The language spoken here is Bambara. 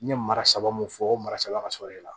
N ye mara saba mun fɔ o ma saba ka sɔrɔ e la